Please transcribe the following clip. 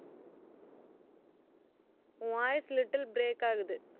உன் voice little break ஆகுது